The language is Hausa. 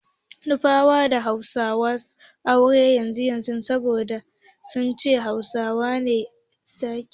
Nufawa ba su son ba Hausawa auren 'ya'yansu saboda sun ce Hausawa na sakin matansu ba ƙwaƙƙwaran dalili.